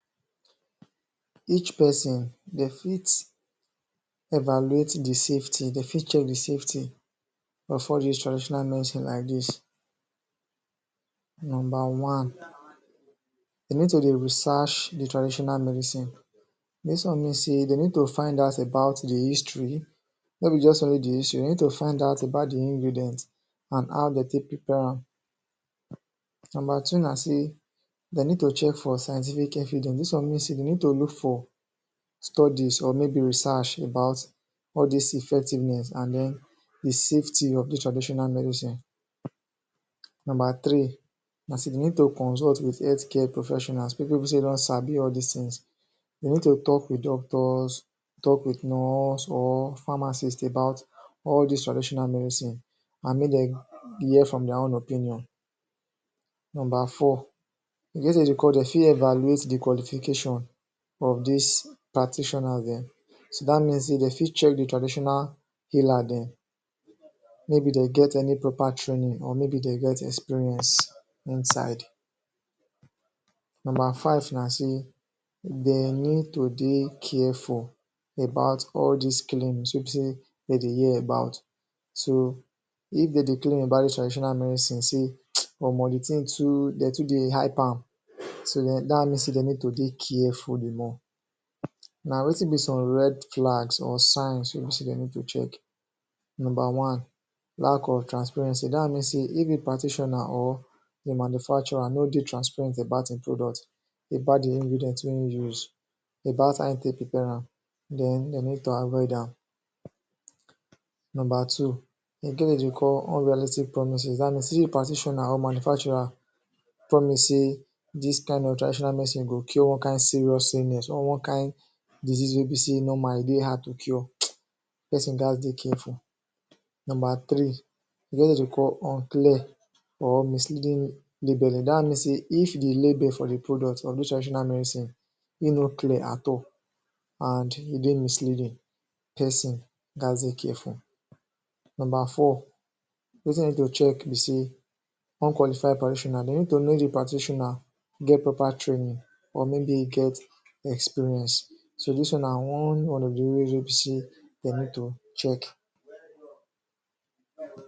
Each peson, de fit evaluate the safety—de fit check the safety— of all dis traditional medicine like dis: Nomba one: De need to dey research the traditional medicine. Dis one mean sey de need to find out about the history, no be juz only the history, de need to find out about the ingredient an how de take prepare am. Nomba two na sey de need to check for scientific evidence. Dis one mean sey de need to look for studies or maybe research about all dis effectiveness an then the safety of dis traditional medicine. Nomba three na sey de need to consult with health care professionals—people wey be sey don sabi all dis tins. De need to talk with doctors, talk with nurse or pharmacist about all dis traditional medicine an make dem hear from dia own opinion. Nomba four: e get wetin de call dey fit evaluate the qualification of dis practitioner dem. So, dat mean sey de fit check the traditional healer dem maybe de get any proper training or maybe de get experience inside. Nomba five na sey de need to dey careful about all dis claims wey be sey de dey hear about. So if de dey claim about traditional medicine sey “Omo the tin too de too dey hype am,” dat mean sey de need to dey careful the more. Now, wetin be some red flags or signs wey be sey de need to check? Nomba one: Lack of transparency. Dat mean sey if a practitioner or a manufacturer no dey transparent about ein product: about the ingredient wey ein use, about how ein take prepare am, then de need to avoid am. Nomba two: E get wetin de dey call “Unrealistic Promise” Dat mean sey if a practitioner or manufacturer promise sey this kain of traditional medicine go cure one kain serious illness or one kain disease wey be sey normal, e dey hard to cure, peson gaz dey careful. Nomba three: E get wetin de dey call unclear or misleading labelling. Dat one mean sey if the label for the product of dos traditional medicine ein no clear at all, an e dey misleading, peson gaz dey careful. Nomba four: Wetin you need to check be sey unqualified practitioner. De need to know the practitioner get proper training or maybe e get experience. So, dis one na one of the reason wey be sey de need to check.